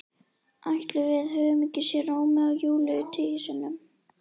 Ætli við höfum ekki séð Rómeó og Júlíu tíu sinnum?